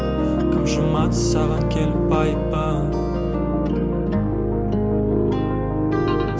кім жумады саған келіп айыбын